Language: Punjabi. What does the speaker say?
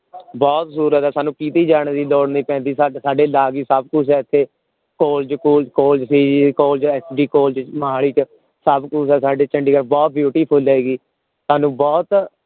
ਬਹੁਤ ਸਹੂਲਤ ਹੈ ਸਾਨੂ ਕੀਤੀ ਜਾਣ ਦੀ ਲੋੜ ਨੀ ਪੈਂਦੀ ਸਾਡੇ ਨਾਲ ਹੀ ਸਭ ਕੁਛ ਹੈ ਇਥੇ ਕਾਲਜ ਕੁਲਜ ਕਾਲਜ ਵੀ college S. D. College Mohali ਚ ਸਭ ਕੁਛ ਹੈ ਸਾਡੇ ਚੰਡੀਗੜ੍ਹ ਬਹੁਤ beautiful ਹੈ ਜੀ ਸਾਨੂ ਬਹੁਤ